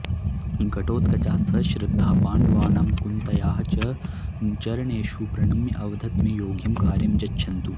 घटोत्कचः सश्रद्धः पाण्डवानां कुन्त्याः च चरणेषु प्रणम्य अवदत् मे योग्यं कार्यं यच्छन्तु